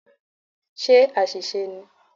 Ṣé àṣìṣe ni?